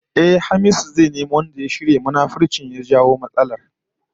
Ehh, Hamisu zai nemo wanda ya shirya munafuncin da ya jawo matsalar